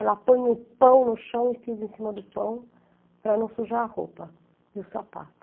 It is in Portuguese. Ela põe o pão no chão e pisa em cima do pão para não sujar a roupa e o sapato.